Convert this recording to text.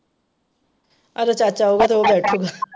ਇਹਦਾ ਚਾਚਾ ਆਊਗਾ ਤੇ ਉਹ ਬੈਠ,